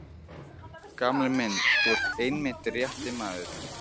Gamli minn, þú ert einmitt rétti maðurinn.